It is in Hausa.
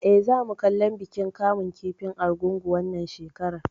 Eh, za mu kallon bikin kamun kifin Argungu wannan shekarar